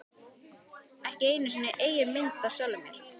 Ekki einu sinni eigin mynd af sjálfum mér.